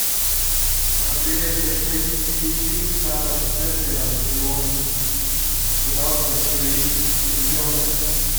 привет хочу найти фильм с адамом сендлером где он пытался усыновить ребенка